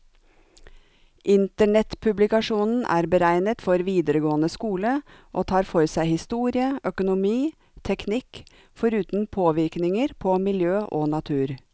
Internettpublikasjonen er beregnet for videregående skole, og tar for seg historie, økonomi, teknikk, foruten påvirkninger på miljø og natur.